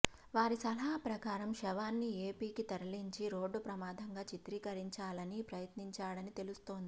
వారి సలహా ప్రకారం శవాన్ని ఏపీకి తరలించి రోడ్డు ప్రమాదంగా చిత్రీకరించాలని ప్రయత్నించాడని తెలుస్తోంది